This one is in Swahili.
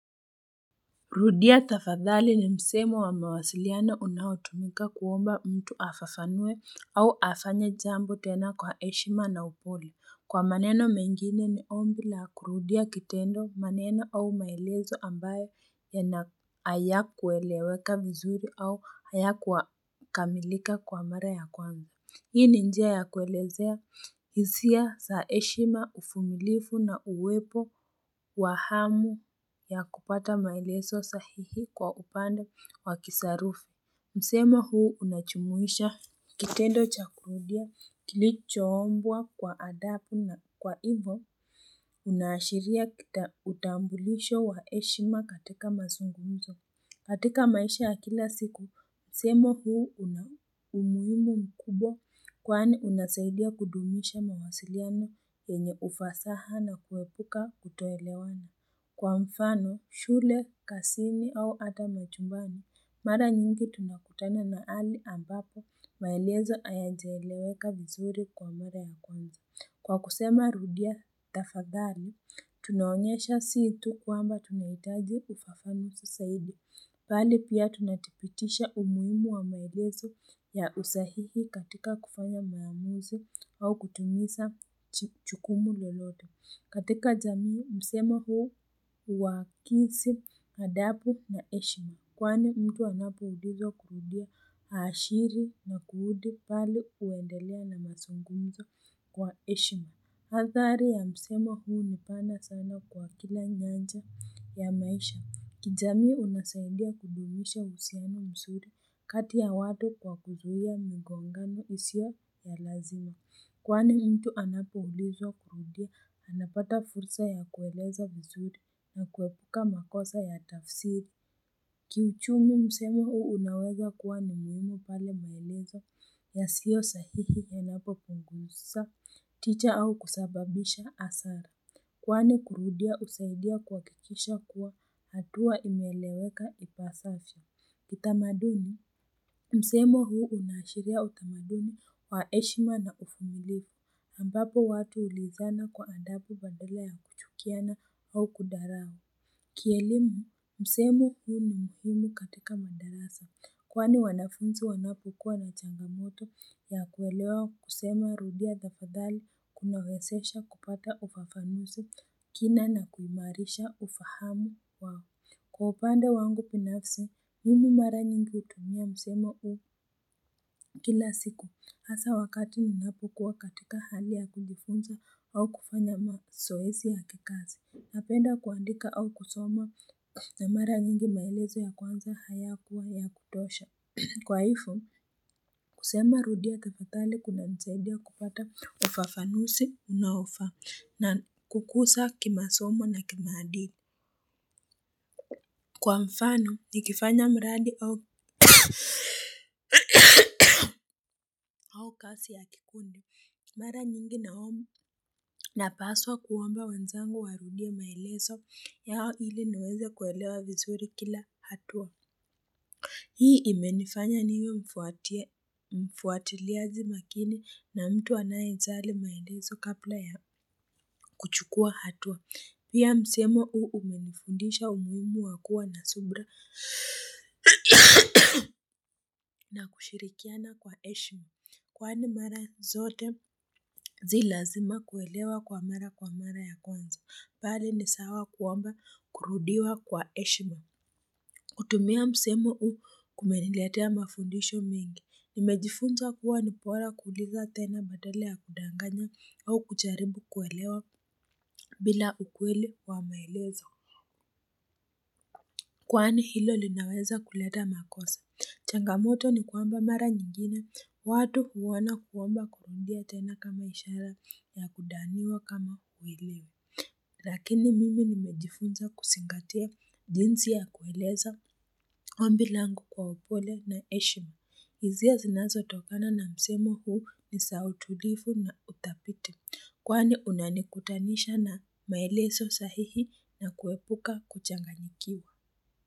Rudia tafadhali ni msemo wa mawasiliano unaotumika kuomba mtu afafanue au afanye jambo tena kwa heshima na upole. Kwa maneno mengine ni ombi la kurudia kitendo maneno au maelezo ambayo haya kueleweka vizuri au haya kukamilika kwa mara ya kwanza. Hii ni njia ya kuelezea hizia za heshima uvumilivu na uwepo wa hamu ya kupata maelezo sahihi kwa upande wa kisarufu. Msemo huu unajumuisha kitendo cha kurudia kilichoombwa kwa adabu na kwa hivyo inaashiria utambulisho wa heshima katika mazungunzo. Katika maisha ya kila siku, msemo huu una muhimu mkubwa kwani unasaidia kudumisha mawasiliano yenye ufasaha na kuepuka kuto elewana. Kwa mfano, shule, kazini au ata majumbani, mara nyingi tunakutana na hali ambapo maelezo hayaja eleweka vizuri kwa mara ya kwanza. Kwa kusema rudia tafathali, tunaonyesha si tu kuamba tunahitaji ufafanuzi zaidi. Bali pia tunathibitisha umuhimu wa maelezo ya usahihi katika kufanya maamuzi au kutumiza jukumu lolote. Katika zamii, msemo huu huakisi, adabu na heshima kwani mtu anapo ulizwa kujua haashiri na kurudi pale huendelea na mazungumzo kwa heshima athari ya msemo huu ni pana sana kwa kila nyanja ya maisha. Kijamii unasadia kudumisha uhusiano mzuri kati ya wale kwa kuzuia migongano isio ya lazima. Kwani mtu anapo ulizwa kurudia anapata fursa ya kueleza vizuri na kuepuka makosa ya tafsiri. Kiuchumi msemo huu unaweza kuwa na umuhimu pale maelezo ya siyo sahihi ya napo punguisa, ticha au kusababisha hasara. Kwani kurudia husaidia kuhakikisha kuwa hatua imeeleweka ipasavyo. Kitamaduni, msemo huu unaashiria utamaduni wa heshima na uvumilivu ambapo watu huulizana kwa andabu badala ya kuchukiana au kudharau. Ki elimu, msemo humu ni muhimu katika madarasa, kwani wanafunzi wanapokua na changamoto ya kuelewa kusema rudia tafadhali kunawezesha kupata upafanuzi kina na kumairisha ufahamu wao. Kwa upande wangu binafsi, mimi mara nyingi hutuhumia msemo huu kila siku hasa wakati ninapo kuwa katika hali ya kujifunza au kufanya mazoesi ya kikazi. Napenda kuandika au kusoma na mara nyingi maelezo ya kwanza haya kuwa ya kutosha. Kwa hivyo, kusema rudia tafadhali kuna nisaidia kupata ufafanuzi unaofaa na kukuza kimasomo na kimaadili. Kwa mfano, nikifanya mradi au kasi ya kikundi. Mara nyingi na paswa kuomba wanzangu warudie maelezo yao ili niweze kuelewa vizuri kila hatua. Hii imenifanya niwe mfuatiliaji makini na mtu anaejali maelezo kabla ya kuchukua hatua. Pia msemo hu umenifundisha umuhimu wakua na subira. Na kushirikiana kwa heshima, kwani mara zote si lazima kuelewa kwa mara kwa mara ya kwanza, bali ni sawa kuomba kurudiwa kwa heshima. Kutumia msemo huu kumeniletea mafundisho mengi, nimejifunza kuwa nibora kuuliza tena badala ya kudanganya au kujaribu kuelewa bila ukweli wa maelezo. Kwani hilo linaweza kuleta makosa. Changamoto ni kwamba mara nyingine. Watu huona kuomba kurudia tena kama ishara ya kudhaniwa kama huelewi. Lakini mimi nimejifunza kuzingatia jinsi ya kueleza ombi langu kwa upole na heshima. Hisia zinazo tokana na msemo huu ni za utulivu na za uthabiti. Kwani unanikutanisha na maelezo sahihi na kuepuka kuchanganyikiwa.